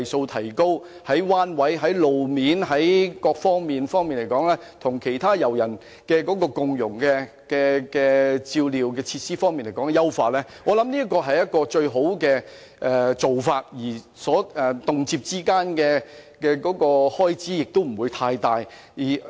我認為這是顧及彎位和路面情況及優化與其他遊人共融照料的設施等各方面的最佳方法，而當中所涉及的開支亦不會太大。